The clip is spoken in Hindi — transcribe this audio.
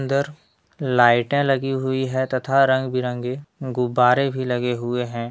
अंदर लाइटें लगी हुई हैं तथा रंग बिरंगे गुब्बारे भी लगे हुए है।